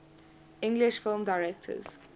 english film directors